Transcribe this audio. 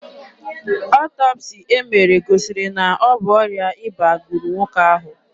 Ọtọpsii e mere gosiri na ọ bụ ọrịa ịba gburu nwoke ahụ.